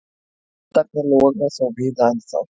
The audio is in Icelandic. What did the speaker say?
Eldarnir loga þó víða ennþá.